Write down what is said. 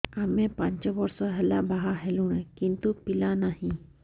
ଆମେ ପାଞ୍ଚ ବର୍ଷ ହେଲା ବାହା ହେଲୁଣି କିନ୍ତୁ ପିଲା ନାହିଁ